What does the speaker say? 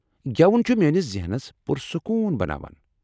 گٮ۪وُن چُھ میٲنِس ذہنس پُرسکون بناوان۔